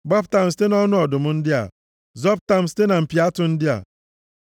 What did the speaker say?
Gbapụta m site nʼọnụ ọdụm ndị a, zọpụta m site na mpi atụ ndị a.